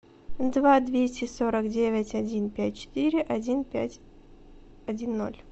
два двести сорок девять один пять четыре один пять один ноль